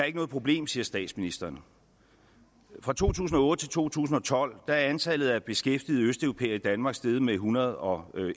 ikke noget problem siger statsministeren fra to tusind og otte til to tusind og tolv er antallet af beskæftigede østeuropæere i danmark steget med en hundrede og